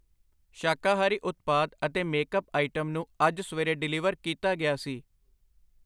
ਸ਼ਾਕਾਹਾਰੀ ਉਤਪਾਦ ਅਤੇ ਮੇਕਅਪ ਆਈਟਮ ਨੂੰ ਅੱਜ ਸਵੇਰੇ ਡਿਲੀਵਰ ਕੀਤਾ ਗਿਆ ਸੀ।